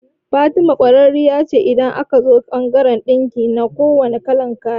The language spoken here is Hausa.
Fatima kwararriya ce idan aka zo bangaran ɗinki na kuwanne kalan kaya